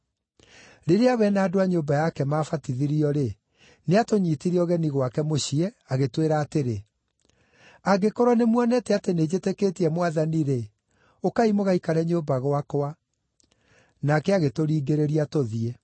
Rĩrĩa we na andũ a nyũmba yake maabatithirio-rĩ, nĩatũnyiitire ũgeni gwake mũciĩ agĩtwĩra atĩrĩ, “Angĩkorwo nĩmuonete atĩ nĩnjĩtĩkĩtie Mwathani-rĩ, ũkai mũgaikare nyũmba gwakwa.” Nake agĩtũringĩrĩria tũthiĩ.